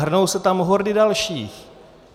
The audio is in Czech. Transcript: Hrnou se tam hordy dalších.